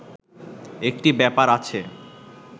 একটি ব্যাপার আছে